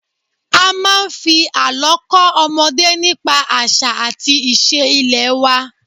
A máa ń fi àlọ́ kọ́ ọmọdé nípa àṣà àti iṣẹ́ ilẹ̀ wa